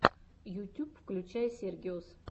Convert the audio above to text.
ютьюб включай сергиос